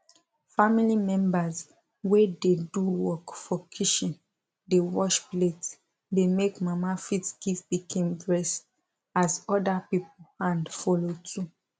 family members wey dey do work for kitchen dey wash plate dey make mama fit give pikin breast as other people hand follow too